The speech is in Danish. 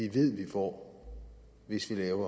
får en situation